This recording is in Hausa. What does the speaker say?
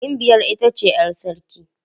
Gimbiyar ita ce 'yar sarki.